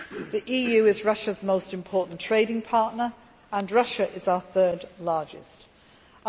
The EU is Russia's most important trading partner, and Russia is our third largest trading partner.